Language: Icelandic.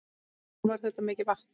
Jón: Var þetta mikið vatn?